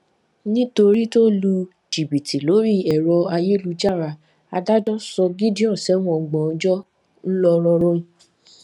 nítorí tó lu jìbìtì lórí ẹrọ ayélujára adájọ sọ gideon sẹwọn ọgbọn ọjọ ńlọrọrin